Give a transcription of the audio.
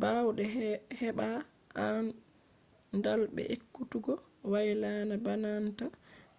baawde hebaa aandal be ekkutugo waylana baananta